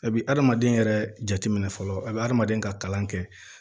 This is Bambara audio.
A bi adamaden yɛrɛ jateminɛ fɔlɔ a be adamaden ka kalan kɛ